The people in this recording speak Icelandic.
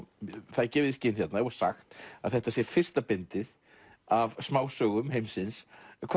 það er gefið í skyn hérna og sagt að þetta sé fyrsta bindið af smásögum heimsins